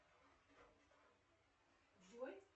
джой